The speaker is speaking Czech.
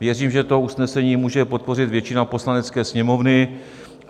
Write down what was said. Věřím, že to usnesení může podpořit většina Poslanecké sněmovny.